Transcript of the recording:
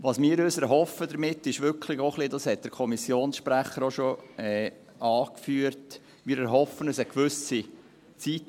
Was wir uns damit erhoffen, ist wirklich auch ein wenig, dass für eine gewisse Zeit Ruhe für das Notariatswesen einkehrt.